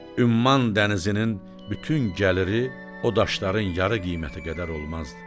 Ümman dənizinin bütün gəliri o daşların yarı qiyməti qədər olmazdı.